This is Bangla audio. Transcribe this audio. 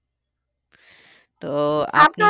তো